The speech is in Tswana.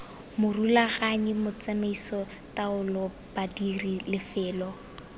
morulaganyi tsamaiso taolo badiri lefelo